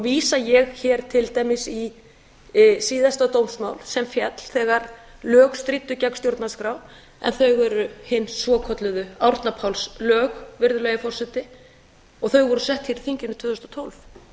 vísa ég til dæmis hér í síðasta dómsmál sem féll þegar lög stríddu gegn stjórnarskrá en þau eru hin svokölluðu árna páls lög virðulegi forseti og þau voru sett hér í þinginu tvö þúsund og